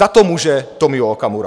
Za to může Tomio Okamura.